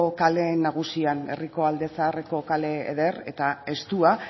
kale nagusian herriko alde zaharreko kale eder eta estua